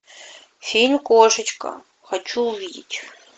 фильм кошечка хочу увидеть